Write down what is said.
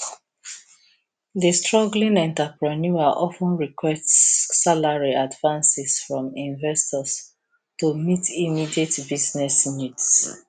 di struggling entrepreneur of ten requests salary advances from investors to meet immediate business needs